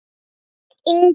Guðjón Ingi.